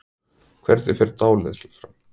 Hvernig fer dáleiðsla fram?